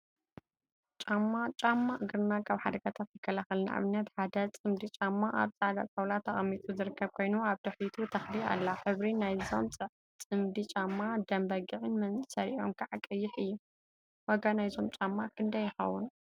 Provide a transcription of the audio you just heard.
ጫማ ጫማ እግርና ካብ ሓደጋታት ይከላከል፡፡ ንአብነት ሓደ ፅምዲ ጫማ አብ ፃዕዳ ጣውላ ተቀሚጡ ዝርከብ ኮይኑ፤ አብ ድሕሪቱ ተክሊ አላ፡፡ ሕብሪ ናይዞም ፅምዲ ጫማ ደም በጊዕን መእሰሪኦም ከዓ ቀይሕ እዩ፡፡ ዋጋ ናይዞም ጫማ ክንደይ ይኸውን?